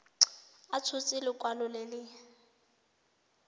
a tshotse lekwalo le le